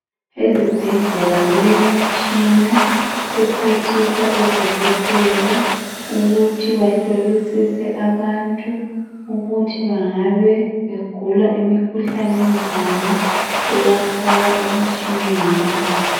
Ezibhedlela kulemitshina ephathisa odokotela ukuthi bahlolisise abantu ukuthi ngabe begula imikhuhlane enjani bebafaka emitshineni.